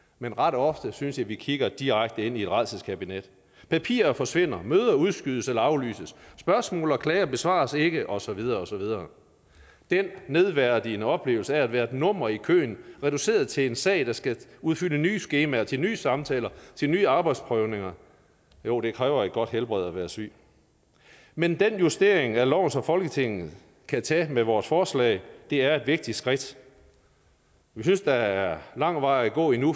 men ret ofte synes jeg vi kigger direkte ind i et rædselskabinet papirer forsvinder møder udskydes eller aflyses spørgsmål og klager besvares ikke og så videre og så videre den nedværdigende oplevelse af at være et nummer i køen reduceret til en sag der skal udfylde nye skemaer til nye samtaler til nye arbejdsprøvninger jo det kræver et godt helbred at være syg men den justering af loven som folketinget kan tage med vores forslag er et vigtigt skridt vi synes der er lang vej at gå endnu